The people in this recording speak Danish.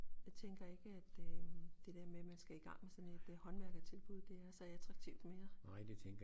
Jeg tænker ikke at øh det dér med at man skal igang med sådan et håndværkertilbud det er så attraktivt mere